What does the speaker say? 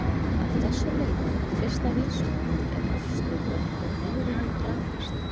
Af þessu leiðir að fyrsta vísuorð er ofstuðlað og miðrímið glatast.